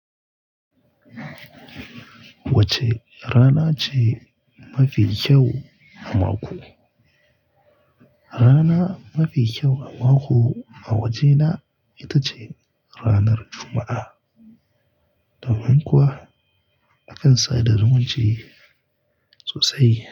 Wacce rana ce mafi kyau a mako? Rana mafi kyau a mako a wajena ita ce ranar Juma'a. Domin kuwa akan sada zumunci sosai.